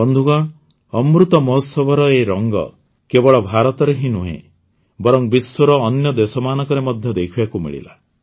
ବନ୍ଧୁଗଣ ଅମୃତ ମହୋତ୍ସବର ଏହି ରଙ୍ଗ କେବଳ ଭାରତରେ ହିଁ ନୁହେଁ ବରଂ ବିଶ୍ୱର ଅନ୍ୟ ଦେଶମାନଙ୍କରେ ମଧ୍ୟ ଦେଖିବାକୁ ମିଳିଲା